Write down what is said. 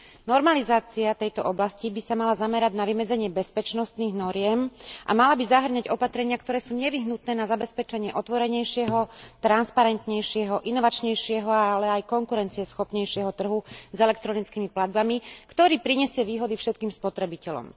Normalizácia tejto oblasti by sa mala zamerať na vymedzenie bezpečnostných noriem a mala by zahŕňať opatrenia, ktoré sú nevyhnutné na zabezpečenie otvorenejšieho, transparentnejšieho, inovačnejšieho, ale aj konkurencieschopnejšieho trhu s elektronickými platbami, ktorý prinesie výhody všetkým spotrebiteľom.